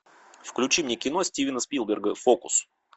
включи мне кино стивена спилберга фокус